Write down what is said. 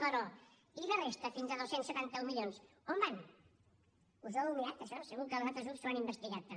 però i la resta fins a dos cents i setanta un milions on van us ho heu mirat això segur que els altres grups ho han investigat també